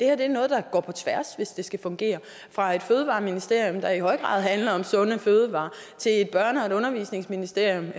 er noget der går på tværs hvis det skal fungere fra et fødevareministerium der i høj grad handler om sunde fødevarer til et børne og et undervisningsministerium